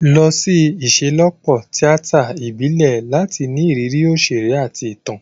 Lọ sí ìṣelọ́pọ̀ tíátà ìbílẹ̀ láti ní ìrírí òṣèré àti ìtàn.